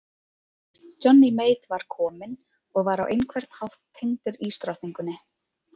Johnny Mate var kominn og var á einhvern hátt tengdur ísdrottningunni.